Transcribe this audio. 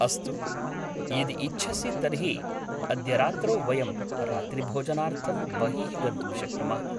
अस्तु, यदि इच्छसि तर्हि अद्य रात्रौ वयं रात्रिभोजनार्थं बहिः गन्तुं शक्नुमः।